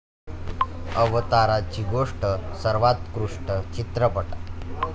अवताराची गोष्ट' सर्वोत्कृष्ट चित्रपट